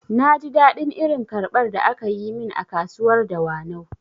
Na ji daɗin irin karbar da akayi min a kasuwar dawanau